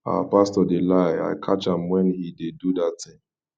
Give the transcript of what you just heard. our pastor dey lie i catch am when he dey do that thing